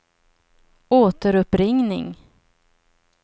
återuppringning